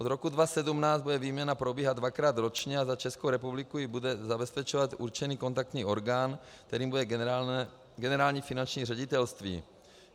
Od roku 2017 bude výměna probíhat dvakrát ročně a za Českou republiku ji bude zabezpečovat určený kontaktní orgán, kterým bude Generální finanční ředitelství.